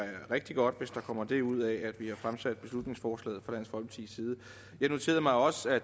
er rigtig godt hvis der kommer det ud af at vi har fremsat beslutningsforslaget jeg noterede mig også at